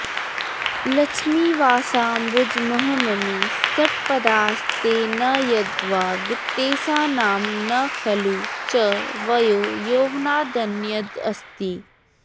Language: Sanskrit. लक्ष्मीवासाम्बुजमहममी षट्पदास्ते न यद्वा वित्तेशानां न खलु च वयो यौवनादन्यदस्ति